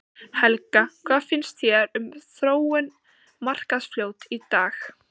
Helga: Hvað finnst þér um, um þróun Markarfljóts í dag?